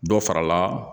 Dɔ farala